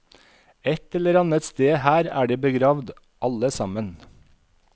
Et eller annet sted her er de begravd, alle sammen.